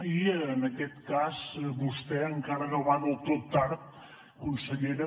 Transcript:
i en aquest cas vostè encara no va del tot tard consellera